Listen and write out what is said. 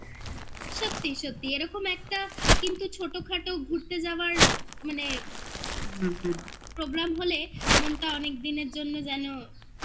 সত্যি সত্যি এরকম একটা কিন্তু ছোটোখাটো ঘুরতে যাওয়ার মানে হুহু program হলে মনটা অনেকদিনের জন্য যেন